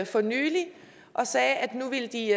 for nylig og sagde at nu ville de